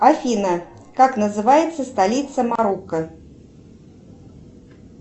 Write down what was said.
афина как называется столица марокко